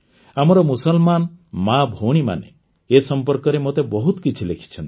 ଆମର ମୁସଲମାନ ମାଆଭଉଣୀମାନେ ଏ ସମ୍ପର୍କରେ ମୋତେ ବହୁତ କିଛି ଲେଖିଛନ୍ତି